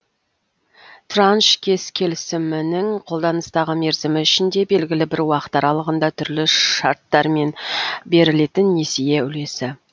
транш қес келісімінің қолданыстағы мерзімі ішінде белгілі бір уақыт аралығында түрлі шарттармен берілетін несие үлесі